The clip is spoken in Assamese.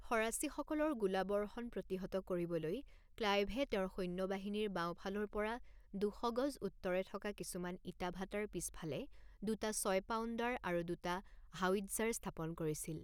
ফৰাচীসকলৰ গোলাবৰ্ষন প্ৰতিহত কৰিবলৈ ক্লাইভে তেওঁৰ সৈন্যবাহিনীৰ বাওঁফালৰ পৰা দুশ গজ উত্তৰে থকা কিছুমান ইটা ভাটাৰ পিছফালে দুটা ছয় পাউণ্ডাৰ আৰু দুটা হাউইটজাৰ স্থাপন কৰিছিল।